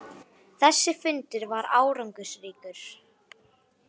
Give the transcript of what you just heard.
Þessi fundur var árangursríkur.